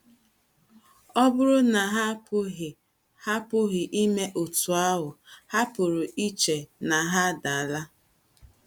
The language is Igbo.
Ọ bụrụ na ha apụghị ha apụghị ime otú ahụ, ha pụrụ iche na ha adaala.